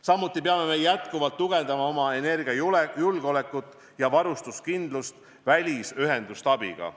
Samuti peame jätkuvalt tugevdama oma energiajulgeolekut ja varustuskindlust välisühenduste abiga.